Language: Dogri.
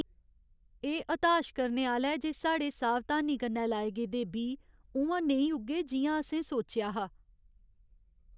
एह् हताश करने आह्‌ला ऐ जे साढ़े सावधानी कन्नै लाए गेदे बीऽ उ'आं नेईं उग्गे जि'यां असें सोचेआ हा ।